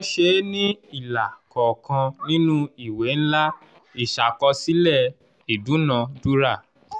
wọ́n ṣe é ní ilà kọ̀ọ̀kan nínú ìwé ńlá ìṣàkọsílẹ̀ ìdúnadúrà.